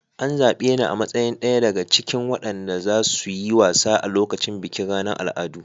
An zabe ni a matsayin daya daga cikin waɗanda za su yi wasa a lokacin bikin ranar al'adu.